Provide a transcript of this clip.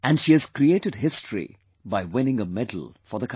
And she has created history by winning a medal for the country